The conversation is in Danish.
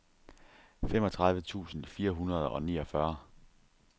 femogtredive tusind fire hundrede og niogfyrre